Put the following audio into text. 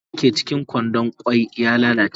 Kwai dake cikin kwandon kwan ya lalace.